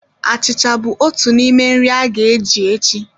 Achịcha bụ otu n'ime nri a ga-eji echi